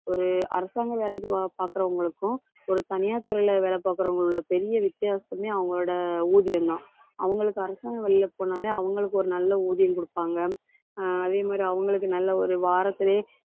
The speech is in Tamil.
ஒரு அரசாங்க வேலைக்கு பார்க்கிறவங்களுக்கும், ஒரு தனியார் துறையில வேலை பார்க்கிறவங்களோட பெரிய வித்தியாசமே அவங்களோட ஊதியம்தான். அவங்களுக்கு அரசாங்க வழியில போனாலே அவங்களுக்கு ஒரு நல்ல ஊதியம் கொடுப்பாங்க. அஹ் அதே மாதிரி, அவங்களுக்கு நல்ல ஒரு வாரத்திலேயே,